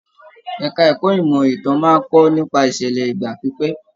Ẹka ẹ̀kọ́ ìmọ ìtàn máa n kọ nípa ìṣẹlẹ ìgbà pípẹ́.